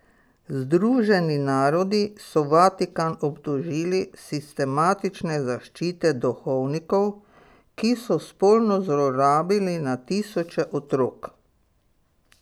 Združeni narodi so Vatikan obtožili sistematične zaščite duhovnikov, ki so spolno zlorabili na tisoče otrok.